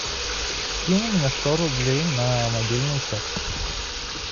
кинь мне сто рублей на мобильный счет